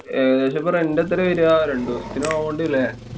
ഏകദേശം rent ഇപ്പൊ എത്രാ വരാ? രണ്ടൂസത്തിനാവോണ്ട് ല്ലേ?